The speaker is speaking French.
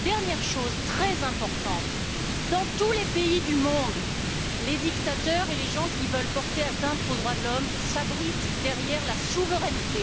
Dernière chose très importante dans tous les pays du monde, les dictateurs et les gens qui veulent porter atteinte aux droits de l'homme s'abritent derrière la souveraineté.